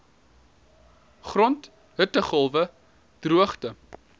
grond hittegolwe droogte